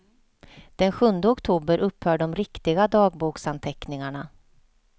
Den sjunde oktober upphör de riktiga dagboksanteckningarna.